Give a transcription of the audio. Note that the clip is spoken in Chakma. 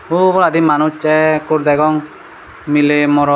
uboladi manuj ekkur degong miley morot.